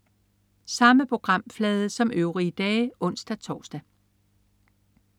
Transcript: Samme programflade som øvrige dage (ons-tors)